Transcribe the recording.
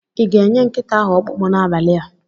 I ga-enye nkịta ahụ ọkpụkpụ n'abalị a?